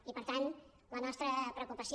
i per tant la nostra preocupació